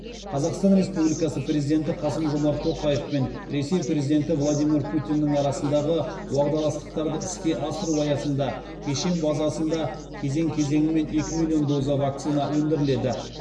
қазақстан республикасы президенті қасым жомарт тоқаев пен ресей президенті владимир путиннің арасындағы уағдаластықтарды іске асыру аясында кешен базасында кезең кезеңімен екі миллион доза вакцина өндіріледі